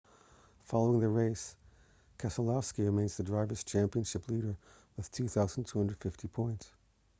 following the race keselowski remains the drivers' championship leader with 2,250 points